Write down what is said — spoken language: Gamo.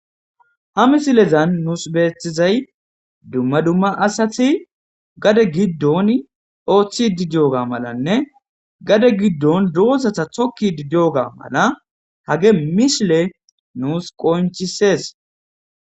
Ha misilezan nuus beeththizay dumma dumma asati gade giddon ooththi didiyoga malanne gade giddon doozata tokki didioga mala hage mishile nuus qonchises.